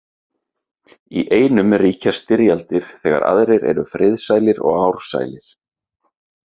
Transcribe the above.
Í einum ríkja styrjaldir þegar aðrir eru friðsælir og ársælir.